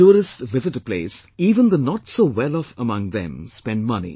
When tourists visit a place, even the notsowelloff among them spend money